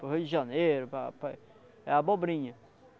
Para o Rio de Janeiro, para para é abobrinha.